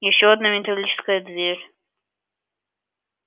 ещё одна металлическая дверь